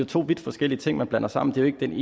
to vidt forskellige ting man blander sammen det ene